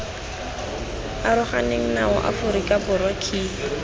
aroganeng nao aforika borwa key